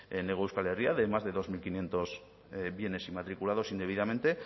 en hego euskal herria de más de dos mil quinientos bienes inmatriculados indebidamente